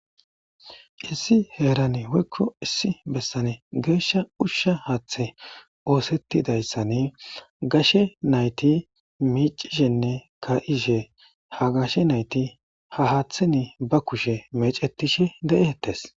issi heeran woykko issi bessane geeshsha ushsha haaththe oosettidayssane gashe nayti miicishenne ka'ishe ha gashe nayti ha haaththeni ba kushe mecetishe de'ehettes.